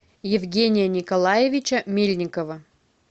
евгения николаевича мельникова